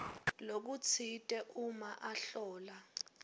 lokutsite uma ahlola